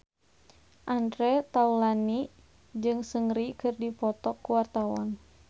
Andre Taulany jeung Seungri keur dipoto ku wartawan